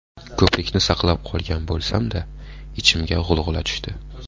Ko‘prikni saqlab qolgan bo‘lsam-da, ichimga g‘ulg‘ula tushdi.